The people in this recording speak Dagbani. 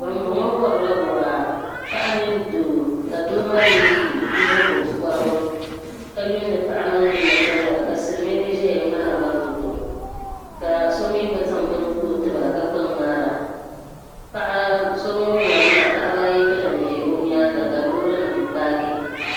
Ban bɔŋɔ warila waa, paɣa mini doo ka doo maa ye nyiŋgo korigu ka yumdi paɣimaa ninni ka wara, ka silimiingi ʒɛya mŋahiroba, fɔtɔ ka somi gba zaŋ bɛni n kpa ɔtiba kami gba mŋaara paɣa so ŋun wari maa, paɣaba ayi gba lanʒi ɔ nyaaŋa ka lɔɔrinim paaki